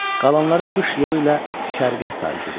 Qalanları qış yolu ilə şərqə sarı gediblər.